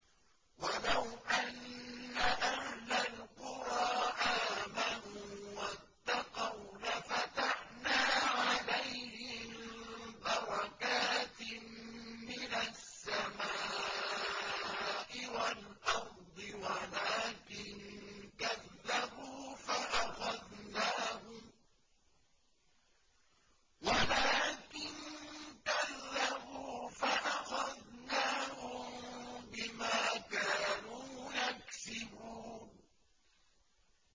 وَلَوْ أَنَّ أَهْلَ الْقُرَىٰ آمَنُوا وَاتَّقَوْا لَفَتَحْنَا عَلَيْهِم بَرَكَاتٍ مِّنَ السَّمَاءِ وَالْأَرْضِ وَلَٰكِن كَذَّبُوا فَأَخَذْنَاهُم بِمَا كَانُوا يَكْسِبُونَ